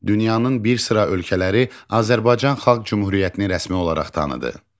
Dünyanın bir sıra ölkələri Azərbaycan Xalq Cümhuriyyətini rəsmi olaraq tanıdı.